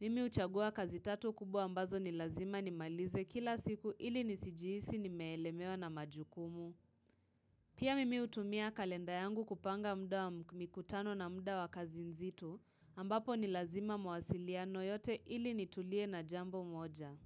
mimi uchagua kazi tatu kubwa ambazo ni lazima nimalize kila siku ili ni sijihisi nimelemewa na majukumu. Pia mimi hutumia kalenda yangu kupanga muda wa mkutano na mda wa kazi nzitu ambapo ni lazima mawasiliano yote ili ni tulie na jambo moja.